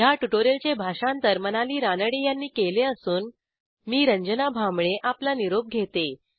ह्या ट्युटोरियलचे भाषांतर मनाली रानडे यांनी केले असून मी आपला निरोप घेते